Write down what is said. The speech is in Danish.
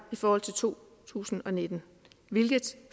i forhold til to tusind og nitten hvilket